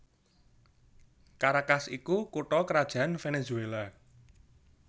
Caracas iku kutha krajan Venezuela